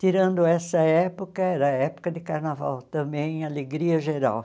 Tirando essa época, era época de carnaval também, alegria geral.